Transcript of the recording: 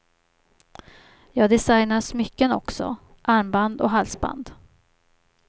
Jag designar smycken också, armband och halsband.